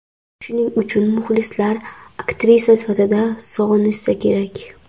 Shuning uchun muxlislar aktrisa sifatida sog‘inishsa kerak.